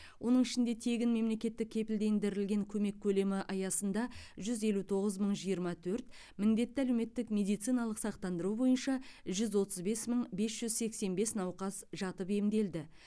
оның ішінде тегін мемлекеттік кепілдендірілген көмек көлемі аясында жүз елу тоғыз мың жиырма төрт міндетті әлеуметтік медициналық сақтандыру бойынша жүз отыз бес мың бес жүз сексен бес науқас жатып емделді